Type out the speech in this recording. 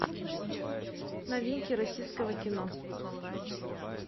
новинки российского кино